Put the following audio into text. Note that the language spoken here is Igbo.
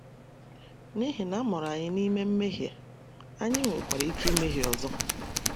N’ihi na amụrụ anyị n’ime mmehie, anyị nwekwara ike imehie ọzọ.